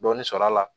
Dɔɔnin sɔrɔ a la